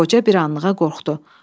Qoca bir anlığa qorxdu.